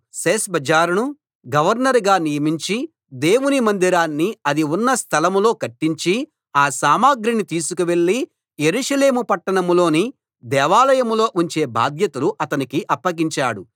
షేష్బజ్జరును గవర్నరుగా నియమించి దేవుని మందిరాన్ని అది ఉన్న స్థలం లో కట్టించి ఆ సామగ్రిని తీసుకువెళ్ళి యెరూషలేము పట్టణంలోని దేవాలయంలో ఉంచే బాధ్యతలు అతనికి అప్పగించాడు